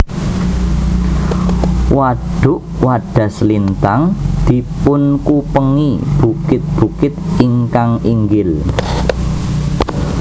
Wadhuk Wadhaslintang dipunkupengi bukit bukit ingkang inggil